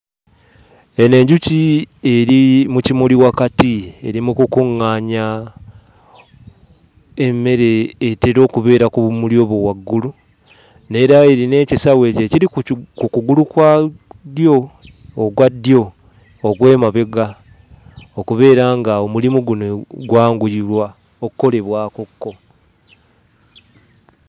Eno enjuki eri mu kimuli wakati, eri mu kukuŋŋaanya emmere etera okubeera ku bumuli obwo waggulu; n'era erina ekisawo ekyo ekiri ku kugulu kwa ddyo, okwa ddyo okw'emabega okubeera ng'omulimu guno gwanguyirwa okukolebwakokko.